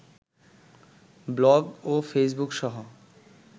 blog ও ফেইসবুকসহ